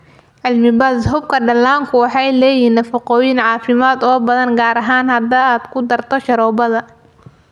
Cilmi-baadhis: Xuubabka dhallaanku waxay leeyihiin nafaqooyin caafimaad oo badan, gaar ahaan haddii aad ku darto sharoobada